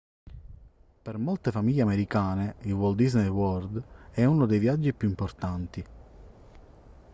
per molte famiglie americane il walt disney world è uno dei viaggi più importanti